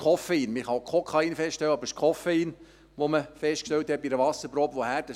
Man kann auch Kokain feststellen, aber es ist Koffein, das man bei einer Wasserprobe festgestellt hat.